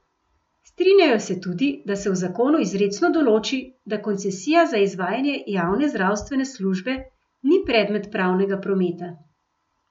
Strinjajo se tudi, da se v zakonu izrecno določi, da koncesija za izvajanje javne zdravstvene službe ni predmet pravnega prometa.